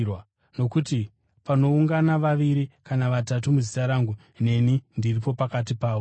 Nokuti panoungana vaviri kana vatatu muzita rangu, neni ndiripo pakati pavo.”